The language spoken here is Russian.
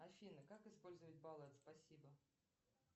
афина как использовать баллы от спасибо